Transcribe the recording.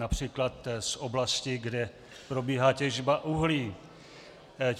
Například z oblasti, kde probíhá těžba uhlí.